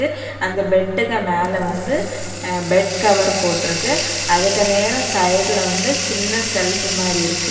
அந்த பெட்டுக்கு மேல வந்து பெட் கவர் போட்டிருக்கு அதுக்கு நேரா சைடுல வந்து சின்ன செல்ப் மாரி இருக்கு.